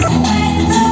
Hey, dostlar!